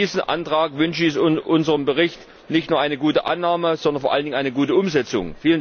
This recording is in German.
In diesem Antrag wünsche ich unserem Bericht nicht nur eine gute Annahme, sondern vor allen Dingen eine gute Umsetzung!